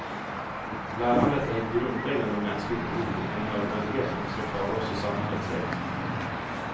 Lärandet är ett grundläggande mänskligt behov och en nödvändighet om vi ska klara oss i samhället, säger han.